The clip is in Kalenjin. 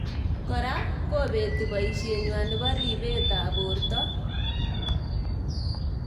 Kora kobeti boishet nywa nebo reibet ab borto.